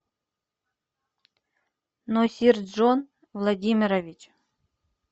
носирджон владимирович